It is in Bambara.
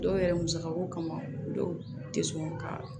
Dɔw yɛrɛ musakako kama dɔw tɛ sɔn ka